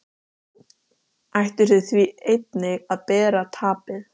Ættu þeir því einnig að bera tapið.